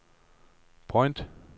point